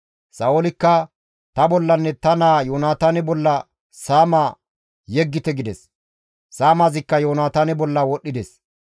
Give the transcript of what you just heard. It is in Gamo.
Sa7oolikka, «Ta bollanne ta naa Yoonataane bolla saama yeggite» gides; saamazikka Yoonataane bolla wodhdhides.